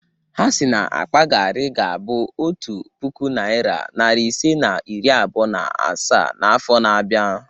Ha si na akpa garri ga-abụ otu puku naịra, narị isii na iri abụọ na asaa n'afọ na-abịa.